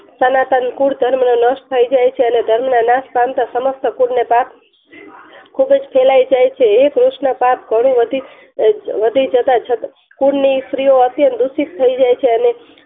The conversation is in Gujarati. સનાતન કુલ ધર્મ નો નાસ થઈ જાય છે અને ધર્મ ના નાસ પામતા સમસ્ત કુલ ને ખુબજ ફેલાય જાય છે હે કૃષ્ન પાક ઘણોય વધી જતા છતાં કૂન ની સ્ત્રીઓ અત્યંત દુઃખી થાય જાય છે અને